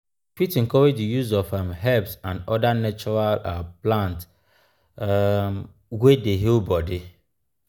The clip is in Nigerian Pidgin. we fit encourage di use of um herbs and oda natural um plants um wey dey heal body